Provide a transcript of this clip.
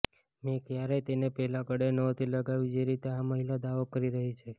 મે ક્યારેય તેને પહેલા ગળે નહોતી લગાવી જે રીતે આ મહિલા દાવો કરી રહી છે